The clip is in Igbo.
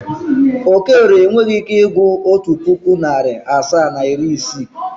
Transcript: Okorie enweghi ike ịgụrụ otu pụkụ, narị asaa na iri isii.